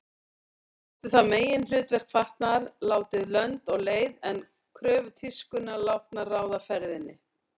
Oft er þetta meginhlutverk fatnaðar látið lönd og leið en kröfur tískunnar látnar ráða ferðinni.